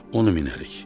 Onu minərik.